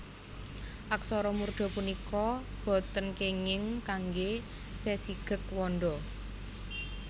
Aksara murda punika boten kénging kanggé sesigeg wanda